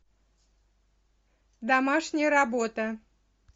домашняя работа